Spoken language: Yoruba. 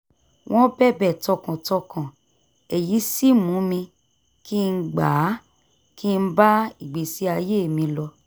wọ́n bẹ̀bẹ̀ tọkàntọkàn èyí sì mú kí n gbà á kí n bá ìgbésí ayé mi lọ